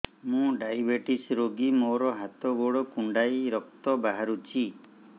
ମୁ ଡାଏବେଟିସ ରୋଗୀ ମୋର ହାତ ଗୋଡ଼ କୁଣ୍ଡାଇ ରକ୍ତ ବାହାରୁଚି